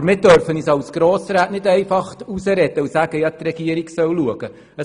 Aber wir dürfen uns als Grossräte nicht herausreden und sagen, die Regierung solle selber schauen.